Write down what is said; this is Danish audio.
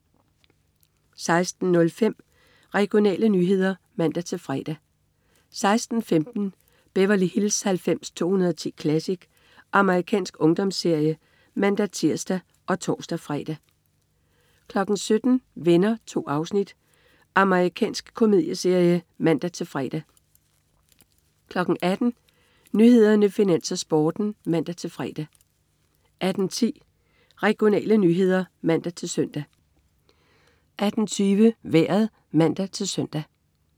16.05 Regionale nyheder (man-fre) 16.15 Beverly Hills 90210 Classic. Amerikansk ungdomsserie (man-tirs og tors-fre) 17.00 Venner. 2 afsnit. Amerikansk komedieserie (man-fre) 18.00 Nyhederne, Finans, Sporten (man-fre) 18.10 Regionale nyheder (man-søn) 18.20 Vejret (man-søn)